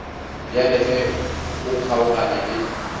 bjale ge o kgaogana le